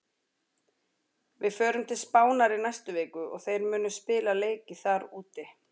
Við förum til Spánar í næstu viku og þeir munu spila leiki þar úti.